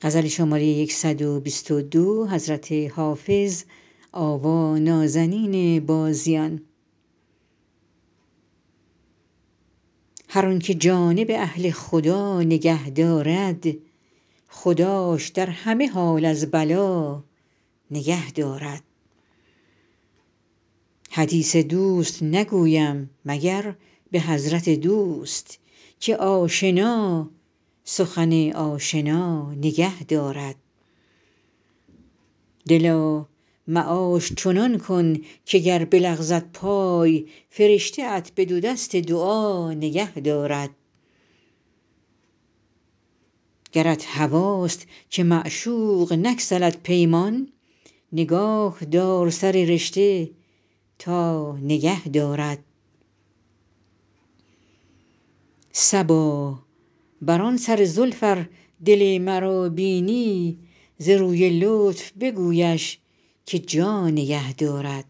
هر آن که جانب اهل خدا نگه دارد خداش در همه حال از بلا نگه دارد حدیث دوست نگویم مگر به حضرت دوست که آشنا سخن آشنا نگه دارد دلا معاش چنان کن که گر بلغزد پای فرشته ات به دو دست دعا نگه دارد گرت هواست که معشوق نگسلد پیمان نگاه دار سر رشته تا نگه دارد صبا بر آن سر زلف ار دل مرا بینی ز روی لطف بگویش که جا نگه دارد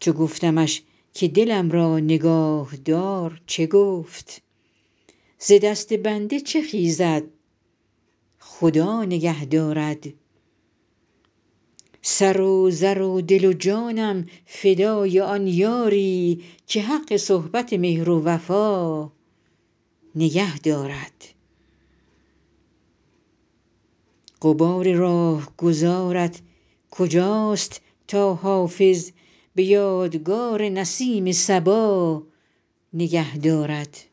چو گفتمش که دلم را نگاه دار چه گفت ز دست بنده چه خیزد خدا نگه دارد سر و زر و دل و جانم فدای آن یاری که حق صحبت مهر و وفا نگه دارد غبار راهگذارت کجاست تا حافظ به یادگار نسیم صبا نگه دارد